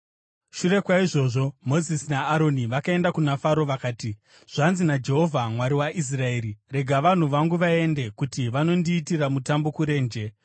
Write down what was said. Shure kwaizvozvo Mozisi naAroni vakaenda kuna Faro vakati, “Zvanzi naJehovha, Mwari waIsraeri: ‘Rega vanhu vangu vaende, kuti vanondiitira mutambo kurenje.’ ”